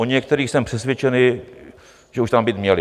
O některých jsem přesvědčený, že už tam být měly.